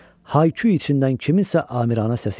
Hay-küy içindən kimsənin amiranə səsi gəldi.